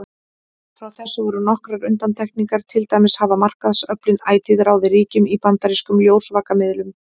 Frá þessu voru nokkrar undantekningar, til dæmis hafa markaðsöflin ætíð ráðið ríkjum í bandarískum ljósvakamiðlum.